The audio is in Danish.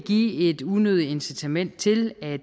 give et unødigt incitament til at